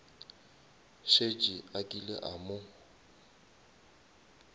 šetše a kile a mo